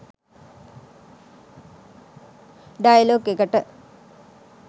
Dialogue එකට.